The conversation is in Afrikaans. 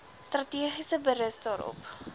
strategie berus daarop